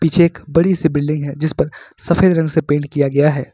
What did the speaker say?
Check बड़ी से building है जिस पर सफेद रंग से पेंट किया गया है।